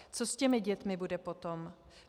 Co s těmi dětmi bude potom?